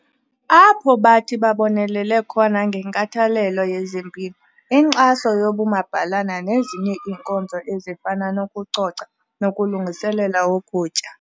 Apho bathi babonelele khona ngenkathalelo yezempilo, inkxaso yobumabhalana nezinye iinkonzo ezifana nokucoca nokulungiselela ukutya.